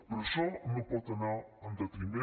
però això no pot anar en detriment